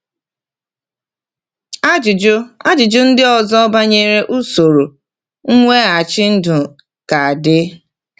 Ajụjụ Ajụjụ ndị ọzọ banyere usoro mweghachi ndụ ka dị.